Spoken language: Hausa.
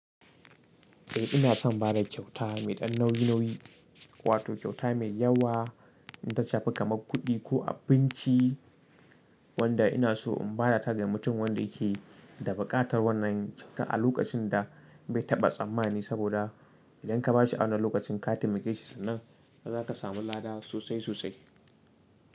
Eh ina son bada kyauta mai ɗan nauyi nauyi, wato kyauta mai yawa in ta shafi kamar kuɗi ko abinci wanda ina so in bada ta ga mutum, wanda yake da buƙatar wannan kyauta, a lokacin da bai taɓa tsammani saboda idan ka ba shi a wannan lokacin ka taimake shi, sannan za ka samu laada sosai sosai.